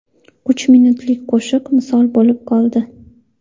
uch minutlik qo‘shiq misol bo‘lib qoldi.